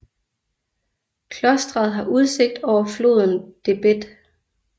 Klosteret har udsigt over floden Debed